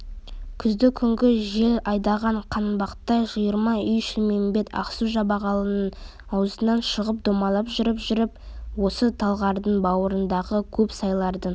күзді күнгі жел айдаған қанбақтай жиырма үй шілмембет ақсу-жабағылының ауызынан шығып домалап жүріп-жүріп осы талғардың бауырындағы көп сайлардың